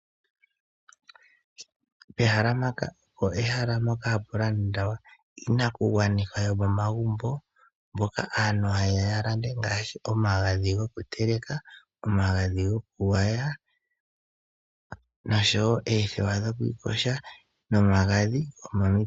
Pehala mpaka opo pehala mpoka hapu landwa iinakugwanithwa yo momagumbo mpoka aantu ha yeya ya landa ngaashi omagadhi go ku teleka, omagadhi go ku gwaya, noshowo oothewa dho kwiiyoga, no magadhi gomomitse.